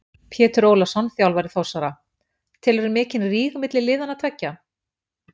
Pétur Ólafsson þjálfari Þórsara: Telurðu mikinn ríg milli liðanna tveggja?